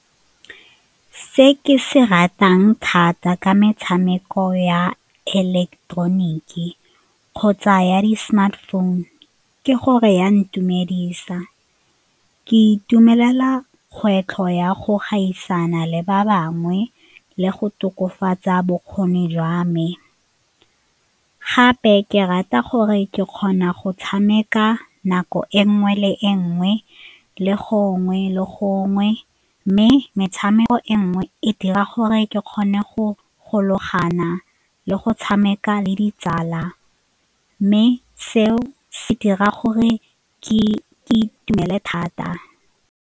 Se ke se ratang thata ka metshameko ya ileketeroniki kgotsa ya di-smartphone ke gore ya ntumedisa, ke itumelela kgwetlho ya go gaisana le ba bangwe le go tokafatsa bokgoni jwa me. Gape ke rata gore ke kgona go tshameka nako e nngwe le e nngwe le gongwe le gongwe mme metshameko e nngwe e dira gore ke kgone go gologana le go tshameka le ditsala mme seo se dira gore ke itumele thata.